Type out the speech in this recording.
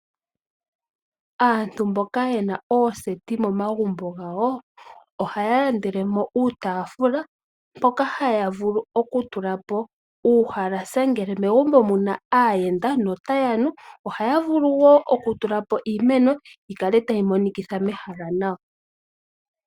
Aantu mboka yena ooseti momagumbo gawo ohaya landelemo uutafula mpoka haya vulu oku tulapo uuhalasa ngele megumbo muna aayenda notaya nu, ohaya vulu wo oku tulapo iimeno yikale tayi monikitha ehala nawa.